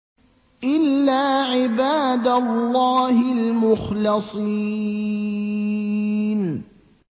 إِلَّا عِبَادَ اللَّهِ الْمُخْلَصِينَ